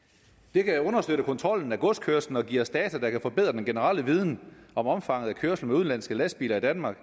det kan understøtte kontrollen af godskørslen og give os data der kan forbedre den generelle viden om omfanget af kørslen med udenlandske lastbiler i danmark